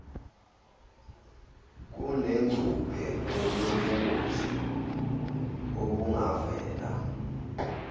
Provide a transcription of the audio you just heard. kunengcuphe yobungozi obungavela